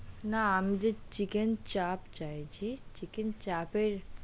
না আমি যে chicken চাপ চাইছি, chicken চাপের.